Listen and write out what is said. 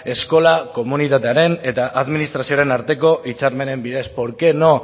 eskola komunitatearen eta administrazioaren arteko hitzarmenen bidez por qué no